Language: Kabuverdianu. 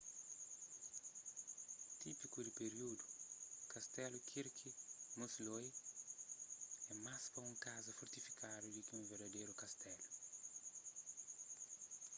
típiku di períudu kastelu kirby muxloe é más pa un kaza fortifikadu di ki un verdaderu kastelu